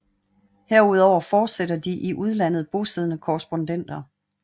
Herudover fortsætter de i udlandet bosiddende korrespondenter